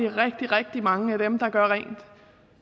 rigtig rigtig mange af dem der gør rent